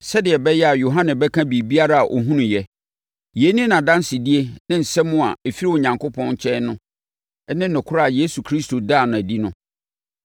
sɛdeɛ ɛbɛyɛ a Yohane bɛka biribiara a ɔhunuiɛ. Yei ne nʼadansedie ne asɛm a ɛfiri Onyankopɔn nkyɛn ne nokorɛ a Yesu Kristo daa no adi no.